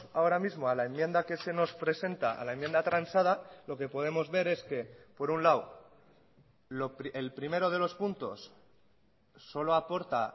ahora mismo a la enmienda que se nos presenta a la enmienda transada lo que podemos ver es que por un lado el primero de los puntos solo aporta